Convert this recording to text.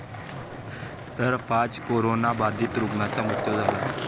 तर पाच करोनाबाधीत रुग्णांचा मृत्यू झाला.